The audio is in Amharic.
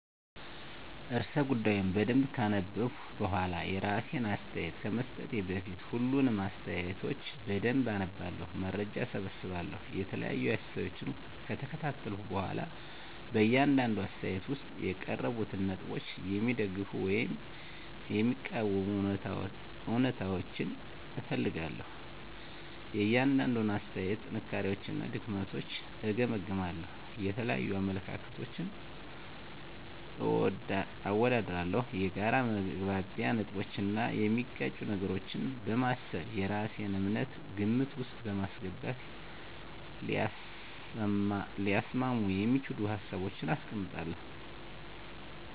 *ርዕሰ ጉዳዩን በደንብ ካነበብኩ በኋላ፤ *የራሴን አስተያየት ከመስጠቴ በፊት፦ ፣ሁሉንም አስተያየቶች በደንብ አነባለሁ፣ መረጃ እሰበስባለሁ የተለያዩ አስተያየቶችን ከተከታተልኩ በኋላ በእያንዳንዱ አስተያየት ውስጥ የቀረቡትን ነጥቦች የሚደግፉ ወይም የሚቃወሙ እውነታዎችን እፈልጋለሁ፤ * የእያንዳንዱን አስተያየት ጥንካሬዎችና ድክመቶችን እገመግማለሁ። * የተለያዩ አመለካከቶችን አወዳድራለሁ። የጋራ መግባቢያ ነጥቦችን እና የሚጋጩ ነገሮችን በማሰብ የራሴን እምነት ግምት ውስጥ በማስገባት ሊያስማሙ የሚችሉ ሀሳቦችን አስቀምጣለሁ።